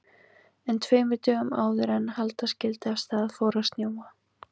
En tveimur dögum áður en halda skyldi af stað fór að snjóa.